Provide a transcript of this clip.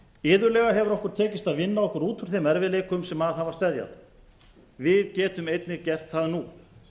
iðulega hefur okkur tekist að vinna okkur út úr þeim erfiðleikum sem að hafa steðjað við getum einnig gert það nú